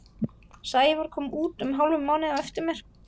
Sævar kom út um hálfum mánuði á eftir mér.